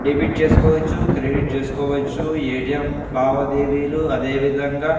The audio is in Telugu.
డెబిట్ చేసుకోవచ్చు క్రెడిట్ చేసుకోవచ్చు ఎ.టీ.ఏం. లాబాదేవిలు అదేవిదంగా --